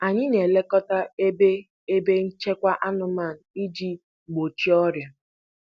Anyị na-elekọta ebe ebe nchekwa anụmanụ iji gbochie ọrịa.